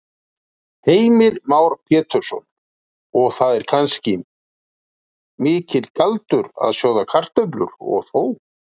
Heimir Már Pétursson: Og það er ekki kannski mikill galdur að sjóða kartöflur, og þó?